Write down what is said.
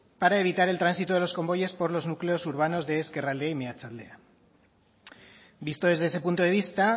para evitar el tránsito de los convoyes por los núcleos urbanos de ezkerraldea y mehatzaldea visto desde ese punto de vista